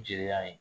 Jeliya ye